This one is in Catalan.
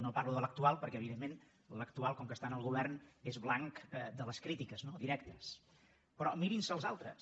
no parlo de l’actual perquè evidentment l’actual com que està en el govern és blanc de les crítiques no directes però mirin se els altres